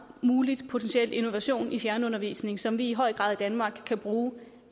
potentiel innovation i fjernundervisning som vi i høj grad i danmark kan bruge